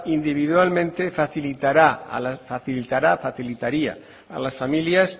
individualmente facilitará facilitaría a las familias